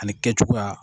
Ani kɛcogoya